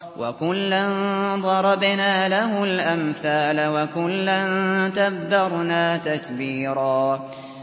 وَكُلًّا ضَرَبْنَا لَهُ الْأَمْثَالَ ۖ وَكُلًّا تَبَّرْنَا تَتْبِيرًا